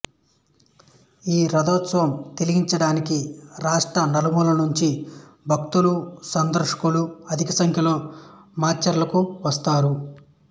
ఈ రథోత్సవం తిలకించటానికి రాష్ట్ర నలుమూలలు నుంచి భక్తులు సందర్శకులు అధిక సంఖ్యలో మాచెర్లకు వస్తారు